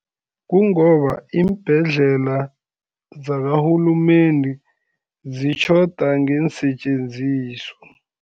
Kungoba iimbhedlela zakarhulumende, zitjhoda ngeensetjenziswa.